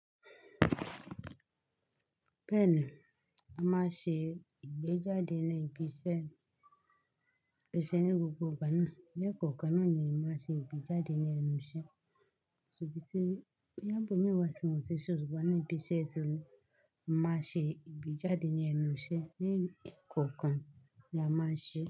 Bẹ́ẹ̀ ni, a máa ṣe ìgbéjáde ní ibi iṣẹ́, ibi iṣẹ́ ní gbogbo ìgbà náà. Ní ẹkọ̀kan náà ni a máa ṣe ìgbéjáde ní ẹnu iṣẹ́. Sobí sí, boya ibo mi wà sí àwọn titun ṣùgbọ́n ní ibi iṣẹ́ yìí ṣó ni, a máa ṣe ìgbéjáde ní ẹnu iṣẹ́. Ní ẹ̀kọ̀kan ni a máa ṣe.